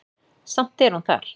Samt er hún þar.